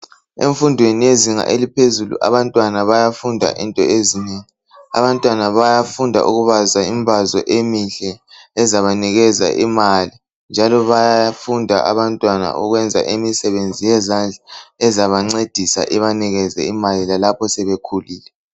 Emfundweni yezinga eliphezulu abantwana bayafunda into ezinengi, abantwana bayafunda ukubaza imbazwa emihle ezabanikeza imali. Njalo bayafunda abantwana ukwenza imisebenzi yezandla ezabancedisa ibanikeze imali lalapho sebekhulile.